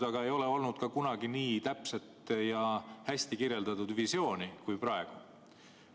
Aga kunagi ei ole olnud ka nii täpset ja hästi kirjeldatud visiooni kui praegu.